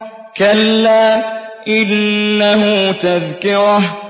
كَلَّا إِنَّهُ تَذْكِرَةٌ